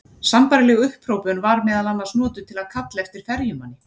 Sambærileg upphrópun var meðal annars notuð til að kalla eftir ferjumanni.